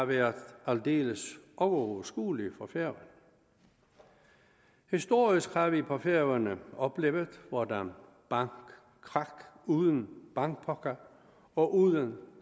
været aldeles uoverskuelige for færøerne historisk har vi på færøerne oplevet hvordan bankkrak uden bankpakker og uden